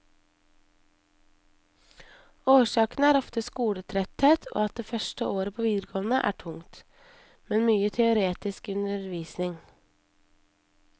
Årsakene er ofte skoletretthet og at det første året på videregående er tungt, med mye teoretisk undervisning.